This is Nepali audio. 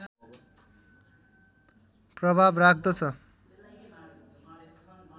प्रभाव राख्दछ